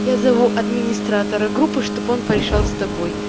я зову администратора группы чтобы он пришёл с тобой